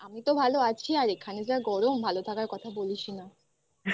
হ্যাঁ আমি তো ভালো আছি আর এখানে যা গরম ভালো থাকার কথা বলিস না।